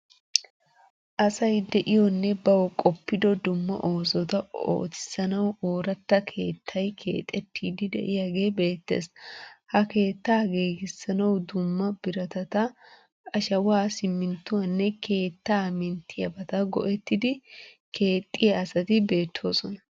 Asay de'iyonne bawu qoppido dumma oosota ootissanawu ooratta keettaay keexettiiddi de'iyagee beettes. Ha keettaa giigissanawu dumma biratata, ashawa, siminttuwaanne keettaa minttiyabata go'ettidi keexxiya asati beettoosona.